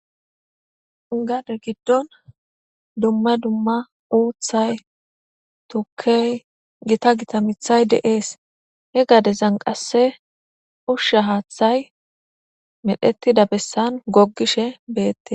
Gade gidon dumma dumma uthay , mithay Gita Gita tukey de'es. He gadezan qase Usha hathay medhetida besan gogishe betes.